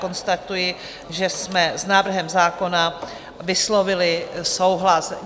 Konstatuji, že jsme s návrhem zákona vyslovili souhlas.